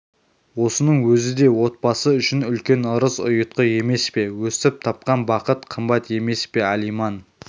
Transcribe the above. осының өзі де отбасы үшін үлкен ырыс-ұйтқы емес пе өстіп тапқан бақыт қымбат емес пе алиман